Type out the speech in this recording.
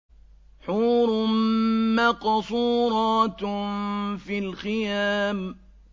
حُورٌ مَّقْصُورَاتٌ فِي الْخِيَامِ